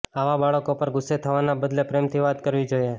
આવા બાળકો પર ગુસ્સે થવાના બદલે પ્રેમથી વાત કરવી જોઈએ